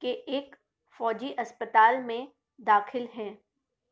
کے ایک فوجی ہپستال میں داخل ہیں